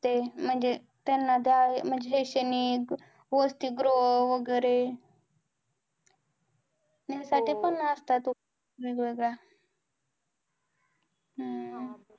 ते म्हणजे त्यांना शैक्षणिक वसतिगृह वैगेरे ह्या साठी पण असतात वेगवेगळ्या हम्म